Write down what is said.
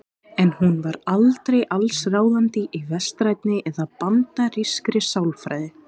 En hún var aldrei allsráðandi í vestrænni eða bandarískri sálfræði.